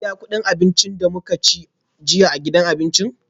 Kin biya kudin abincin da muka ci jiya a gidan abinci?